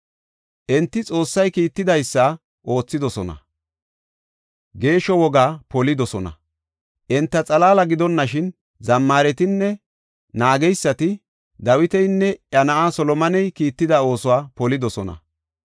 Enti Xoossay kiitidaysa oothidosona; geeshsho wogaa polidosona. Enta xalaala gidonashin zammaretinne naageysati Dawitinne iya na7aa Solomoney kiitida oosuwa polidosona.